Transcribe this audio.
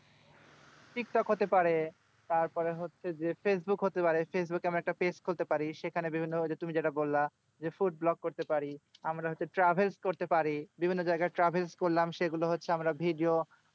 TikTok হতে পারে। তারপরে হচ্ছে যে ফেসবুক হতে পারে। ফেসবুকে আমরা একটা page খুলতে পারি। সেখানে বিভিন্ন তুমি যেরকম বললা যে food vlog করতে পারি। আমরা হচ্ছে travel করতে পারি। বিভিন্ন জায়গায় travel করলাম। সেগুলো হচ্ছে আমরা হচ্ছে video